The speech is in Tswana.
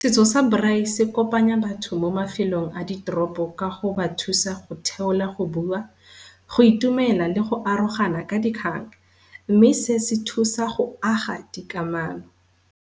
Setso sa Braai se kopanya batho mo mafelong a diteropo ka go ba thusa go theola, go bua, go itumela le go arogana ka di . Mme se sethusa go aga dikamano.